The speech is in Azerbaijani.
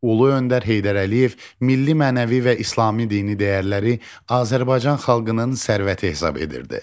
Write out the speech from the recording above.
Ulu öndər Heydər Əliyev milli, mənəvi və İslami dini dəyərləri Azərbaycan xalqının sərvəti hesab edirdi.